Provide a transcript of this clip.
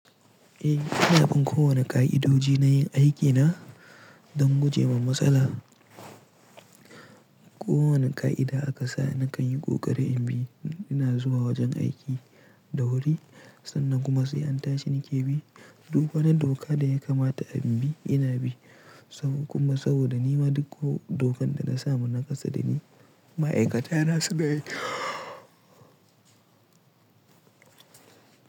Eh, ina bin kowane ƙa'idoji na yin aiki na don gujewa matsala. Kowane ƙa'ida aka sa nakan yi ƙoƙari in bi. Ina zuwa wajen aiki da wuri sannan kuma sai an tashi nike bi duka na doka da ya kamata a bin bi ina bi. Sabo kuma saboda nima duk ko dokan da na samu na kasa da ni ma'aikata na su gani.